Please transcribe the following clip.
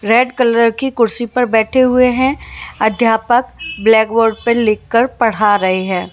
Red colour की कुर्सी पर बैठे हुए हैं अध्यापक ब्लैक बोर्ड पर लिखकर पढ़ा रहे हैं।